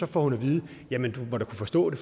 får hun at vide jamen du må da kunne forstå det